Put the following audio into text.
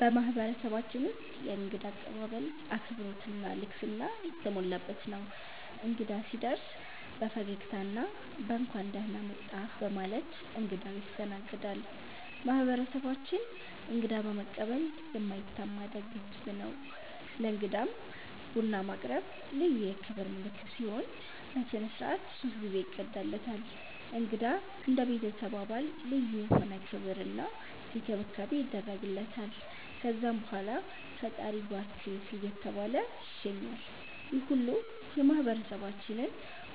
በማህበረሰባችን ውስጥ የእንግዳ አቀባበል አክብሮት እና ልግስና የተሞላበት ነው። እንግዳ ሲደርስ በፈገግታ እና በ“እንኳን ደህና መጣህ” በማለት እንግዳው ይስተናገዳል። ማህበረሰባችን እንግዳ በመቀበል የማይታማ ደግ ህዝብ ነው። ለእንግዳም ቡና ማቅረብ ልዩ የክብር ምልክት ሲሆን፣ በሥነ ሥርዓት ሶስት ጊዜ ይቀዳለታል። እንግዳ እንደ ቤተሰብ አባል ልዩ የሆነ ክብር እና እንክብካቤ ይደረግለታል። ከዛም በኋላ “ፈጣሪ ይባርክህ” እየተባለ ይሸኛል፣ ይህ ሁሉ የማህበረሰባችንን